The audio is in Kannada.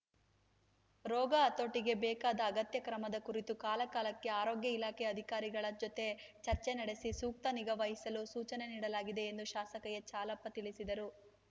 ರೋಗ ಹತೋಟಿಗೆ ಬೇಕಾದ ಅಗತ್ಯ ಕ್ರಮದ ಕುರಿತು ಕಾಲಕಾಲಕ್ಕೆ ಆರೋಗ್ಯ ಇಲಾಖೆ ಅಧಿಕಾರಿಗಳ ಜೊತೆ ಚರ್ಚೆ ನಡೆಸಿ ಸೂಕ್ತ ನಿಗಾವಹಿಸಲು ಸೂಚನೆ ನೀಡಲಾಗಿದೆ ಎಂದು ಶಾಸಕ ಎಚ್‌ಹಾಲಪ್ಪ ತಿಳಿಸಿದರು